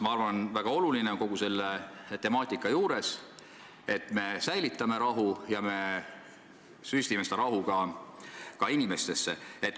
Ma arvan, et väga oluline on kogu selle temaatika puhul säilitada rahu ja süstida rahu ka inimestesse.